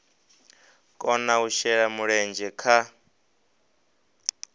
kona u shela mulenzhe kha